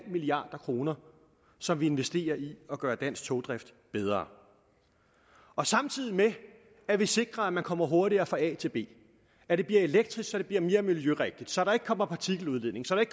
milliard kr som vi investerer i at gøre dansk togdrift bedre samtidig med at vi sikrer at man kommer hurtigere fra a til b at det bliver elektrisk så det bliver mere miljørigtigt så der ikke kommer partikeludledning så der